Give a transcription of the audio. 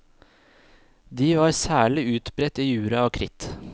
De var særlig utbredt i jura og kritt.